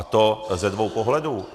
A to ze dvou pohledů.